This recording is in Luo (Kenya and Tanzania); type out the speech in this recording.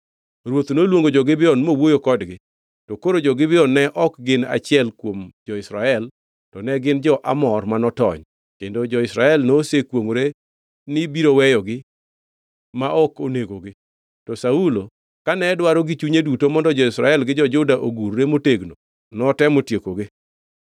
Ruoth noluongo jo-Gibeon mowuoyo kodgi. To koro jo-Gibeon ne ok gin achiel kuom jo-Israel to ne gin jo-Amor ma notony, kendo jo-Israel nosekwongʼore ni biro weyogi ma ok onegogi, to Saulo kane dwaro gi chunye duto mondo jo-Israel gi jo-Juda ogurre motegno, notemo tiekogi.